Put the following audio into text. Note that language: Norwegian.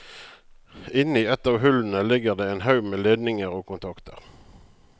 Inni et av hullene ligger det en haug med ledninger og kontakter.